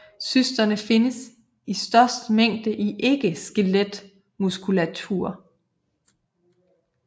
Cysterne findes i størst mængde i ikke skeletmuskulatur